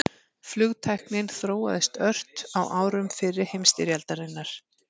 Flugtæknin þróaðist ört á árum fyrri heimsstyrjaldarinnar.